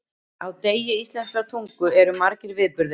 Á degi íslenskrar tungu eru margir viðburðir.